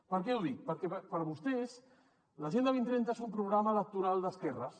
per què ho dic perquè per a vostès l’agenda dos mil trenta és un programa electoral d’esquerres